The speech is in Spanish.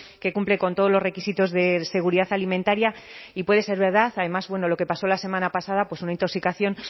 que cumple con todos los requisitos de seguridad alimentaria y puede ser verdad además bueno lo que pasó la semana pasada una intoxicación